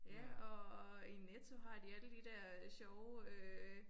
Ja og i Netto har de alle de der sjove øh